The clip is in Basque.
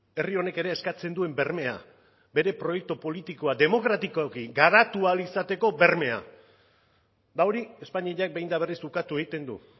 herri honek ere eskatzen duen bermea bere proiektu politiko bat demokratikoa garatu ahal izateko bermea eta hori espainiak behin eta berriz ukatu egiten du